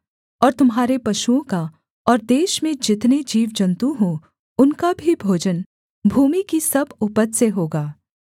और तुम्हारे पशुओं का और देश में जितने जीवजन्तु हों उनका भी भोजन भूमि की सब उपज से होगा